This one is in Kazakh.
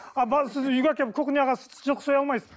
сіз үйге әкеліп кухняға жылқы соя алмайсыз